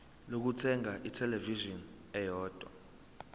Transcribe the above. lokuthenga ithelevishini eyodwa